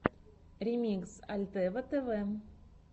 ремикс альтева тэвэ